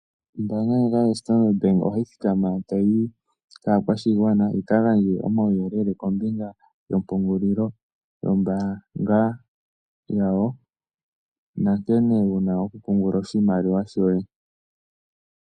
Ombaanga ndjoka yoStandard Bank ohayi thikama tayi yi kaakwashigwana yi ka gandje omauyelele kombinga yompungulilo yombaanga yawo nankene wu na okupungula oshimaliwa shoye.